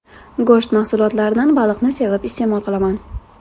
Go‘sht mahsulotlaridan baliqni sevib iste’mol qilaman.